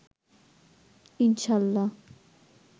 ইনশা-আল্লাহ